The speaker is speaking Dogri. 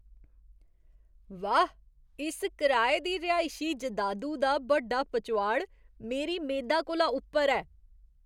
वाह्, इस कराए दी रिहायशी जैदादु दा बड्डा पचोआड़ मेरी मेदा कोला उप्पर ऐ!